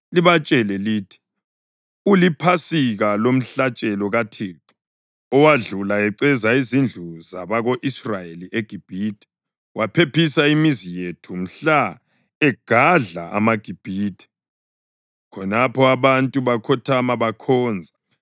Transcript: libatshele lithi, ‘UliPhasika lomhlatshelo kaThixo owadlula eceza izindlu zabako-Israyeli eGibhithe, waphephisa imizi yethu mhla egadla amaGibhithe.’ ” Khonapho abantu bakhothama bakhonza.